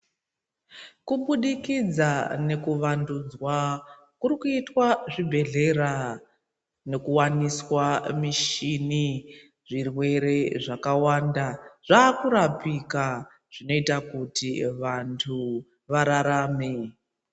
Kubudikidza nekuvandudzwa kurikuitwa zvibhehlera nenkuwaniswa mushini .Zvirwere zvakawanda zvakurapika ,zvinoita kuti vantu vararame.